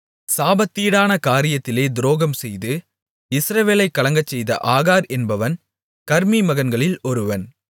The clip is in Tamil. சாபத்தீடான காரியத்திலே துரோகம்செய்து இஸ்ரவேலைக் கலங்கச்செய்த ஆகார் என்பவன் கர்மீ மகன்களில் ஒருவன்